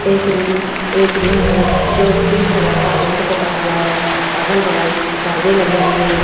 एक रूम है जो पिंक कलर का पेंट पुता हुआ है अगल बगल परदे लगे हुए हैं।